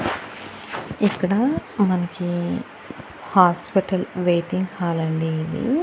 ఇక్కడ మన్కీ hospital waiting hall అండి ఇది.